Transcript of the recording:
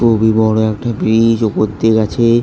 খুবই বড়ো একটা ব্রী-ই-জ ওপর দিয়ে গেছে।